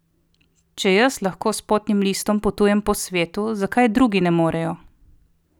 Če jaz lahko s potnim listom potujem po svetu, zakaj drugi ne morejo?